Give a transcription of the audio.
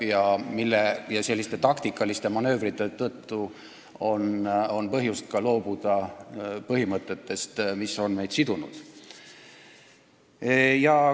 Ja selliste taktikaliste manöövrite tõttu on põhjust loobuda ka põhimõtetest, mis on meid sidunud.